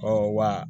Ɔ wa